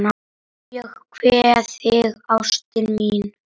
Ég kveð þig, ástin mín.